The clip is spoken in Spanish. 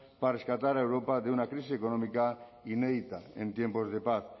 para rescatar a europa de una crisis económica inédita en tiempos de paz